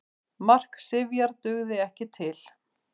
Mark Sifjar dugði ekki til